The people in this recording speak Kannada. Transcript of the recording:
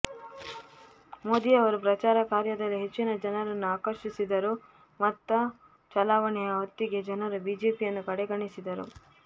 ಮೋದಿಯವರು ಪ್ರಚಾರ ಕಾರ್ಯದಲ್ಲಿ ಹೆಚ್ಚಿನ ಜನರನ್ನು ಆಕರ್ಷಿಸಿದರೂ ಮತ ಚಲಾವಣೆಯ ಹೊತ್ತಿಗೆ ಜನರು ಬಿಜೆಪಿಯನ್ನು ಕಡೆಗಣಿಸಿದರು